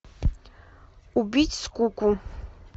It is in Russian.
убить скуку